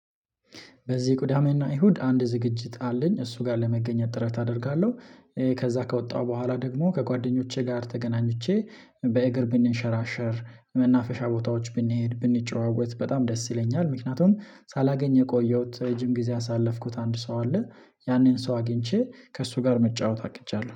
በዚህ ቅዳሜና እሁድ አንድ ዝግጅት አለኝ እሱ ጋር ለመገኘት ጥረት አደርጋለሁ። ከዚያ ከወጣሁ በኋላ ደግሞ ከጓደኞቼ ጋር ተገናኝቼ በእግር ብንሸራሸር መናፈሻ ቦታዎች ብንሄድ ብንጨዋወት በጣም ደስ ይለኛል። ምክንያቱም ሳላገኘ የቆየሁት ረጅም ጊዜ ያሳለፍኩት አንድ ሰው አለ። ያንን ሰው አግኝቼ ከእሱ ጋር መጫወት አቅጀለሁ